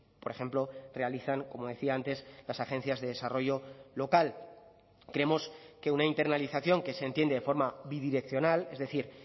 por ejemplo realizan como decía antes las agencias de desarrollo local creemos que una internalización que se entiende de forma bidireccional es decir